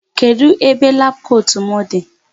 Kedụ ebe labụ kotu m dị?